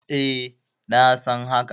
E, na san haka.